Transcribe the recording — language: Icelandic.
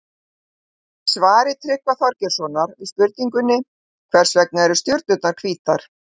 Í svari Tryggva Þorgeirssonar við spurningunni Hvers vegna eru stjörnurnar hvítar?